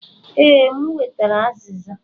Ee, m wetara aziza.